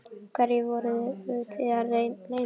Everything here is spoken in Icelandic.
Hverju voruð þið að leyna mig?